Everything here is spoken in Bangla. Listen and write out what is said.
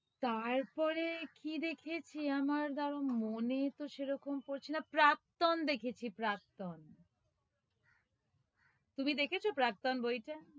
তারপরে কি দেখেছি, আমার দাঁড়াও মনে তো সেরকম পড়ছে না, প্রাক্তন দেখেছি, প্রাক্তন তুমি দেখেছো প্রাক্তন বইটা?